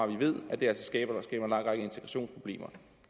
vi ved at det altså skaber en lang række integrationsproblemer